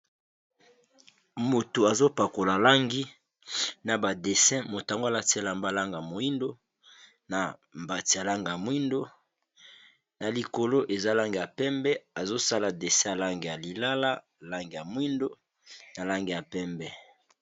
Moto azopakola langi na ba dessi motango alatiala mbalanga moindo, na mbati ya lange ya mwindo na likolo eza langi ya pembe, azosala dese lange ya lilala, lange ya mwindo, na lange ya pembe.